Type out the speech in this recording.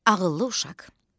Ağıllı uşaq.